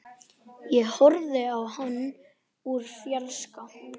Ég horfði á hann úr fjarska.